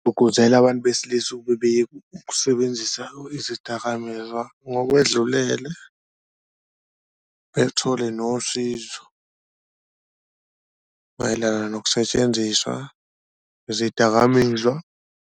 Ukuze la bantu besilisa ukusebenzisa izidakamizwa ngokwedlulele bethole nosizo mayelana nokusetshenziswa kwezidakamizwa.